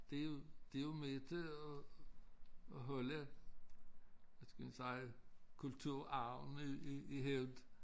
Det jo det jo med til at at holde hvad skal man sige kulturarven i i i hævd